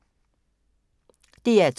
DR2